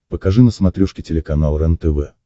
покажи на смотрешке телеканал рентв